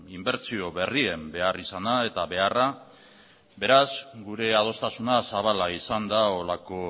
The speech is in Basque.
inbertsio berrien beharrizana eta beharra beraz gure adostasuna zabala izan da holako